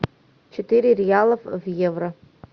четыре реала в евро